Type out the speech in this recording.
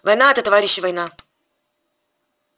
война это товарищи война